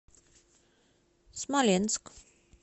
смоленск